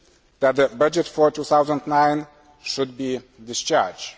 that the budget for 2009 should be discharged.